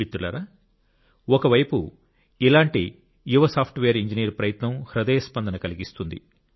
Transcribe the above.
మిత్రులారా ఒకవైపు ఇలాంటి మరో యువ సాఫ్ట్వేర్ ఇంజనీర్ ప్రయత్నం హృదయ స్పందన కలిగిస్తుంది